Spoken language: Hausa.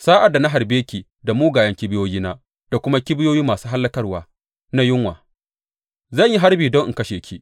Sa’ad da na harbe ki da mugayen kibiyoyina da kuma kibiyoyi masu hallakarwa na yunwa, zan yi harbi don in kashe ki.